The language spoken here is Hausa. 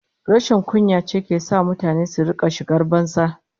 Rashin kunya ce ke sa mutane su rika shigar banza